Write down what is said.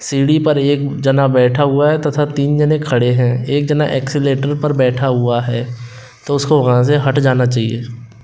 सीढ़ी पर एक जना बैठा हुआ है तथा तीन जने खड़े हैं एक जना एक्सीलेटर पर बैठा हुआ है तो उसको वहां से हट जाना चाहिए।